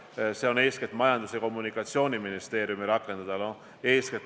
See nõue on eeskätt Majandus- ja Kommunikatsiooniministeeriumi rakendada.